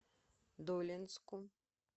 долинску